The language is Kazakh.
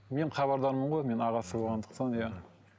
мен хабардармын ғой мен ағасы болғандықтан иә